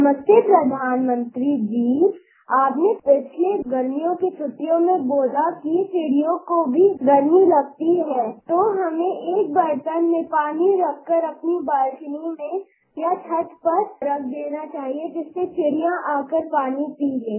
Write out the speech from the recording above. नमस्ते प्रधानमंत्री जी आपने पिछले गर्मियों की छुट्टियों में बोला कि चिड़ियों को भी गर्मी लगती है तो हमने एक बर्तन में पानी में रखकर अपनी बालकोनी में या छत पर रख देना चाहिये जिससे चिड़िया आकर पानी पी लें